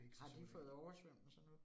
Har de fået oversvømmelser nu?